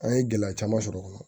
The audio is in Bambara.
An ye gɛlɛya caman sɔrɔ o kɔnɔ